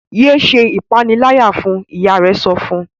yé ṣe ìpaniláyà fún! ìyá rẹ sọfún.